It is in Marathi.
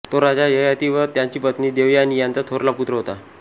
तो राजा ययाति व त्याची पत्नी देवयानी यांचा थोरला पुत्र होता